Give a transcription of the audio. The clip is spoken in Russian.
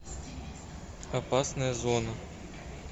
опасная зона